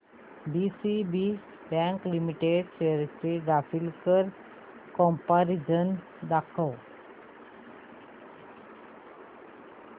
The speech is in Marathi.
डीसीबी बँक लिमिटेड शेअर्स चे ग्राफिकल कंपॅरिझन दाखव